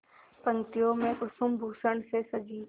पंक्तियों में कुसुमभूषण से सजी